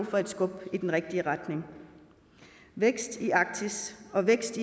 for et skub i den rigtige retning vækst i arktis og vækst